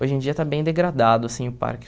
Hoje em dia está bem degradado, assim, o parque.